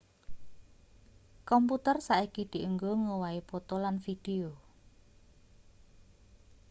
komputer saiki dienggo ngowahi poto lan video